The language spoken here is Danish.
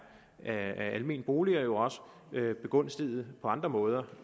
af almene boliger jo også begunstiget på andre måder